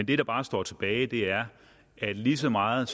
det der bare står tilbage er at lige så meget